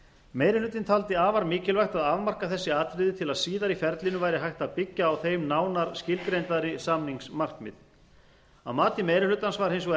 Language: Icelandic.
meiri hlutinn taldi afar mikilvægt að afmarka þessi atriði til að síðar í ferlinu væri hægt að byggja á þeim nánar skilgreindari samningsmarkmið að mati meiri hlutans var hins